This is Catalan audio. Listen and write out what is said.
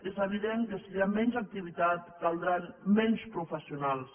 és evident que si hi ha menys activitat caldran menys professionals